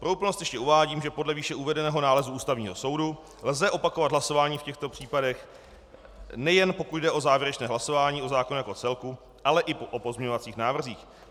Pro úplnost ještě uvádím, že podle výše uvedeného nálezu Ústavního soudu lze opakovat hlasování v těchto případech, nejen pokud jde o závěrečné hlasování o zákonu jako celku, ale i o pozměňovacích návrzích.